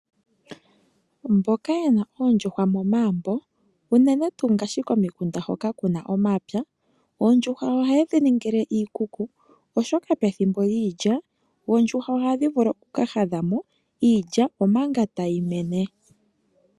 Mboka ye na oondjuhwa momagumbo oto adha unene tuu ngaashi komikunda hoka ku na omapya, oondjuhwa ohaye dhi ningile iikuku oshoka pethimbo lyiilya oondjuhwa ohadhi vulu oku ka hadha mo iilya omanga tayi mene.